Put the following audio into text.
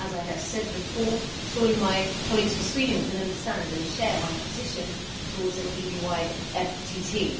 As I have said before, surely my colleagues from Sweden can understand and share my position towards an EU wide FTT.